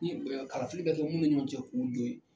Ni KafIli bɛ Kɛ minnu ɲɔgɔn cɛ k'u don ye.